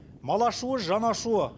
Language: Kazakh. мал ашуы жан ашуы